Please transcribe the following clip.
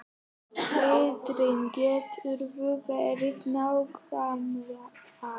Sindri: Geturðu verið nákvæmari?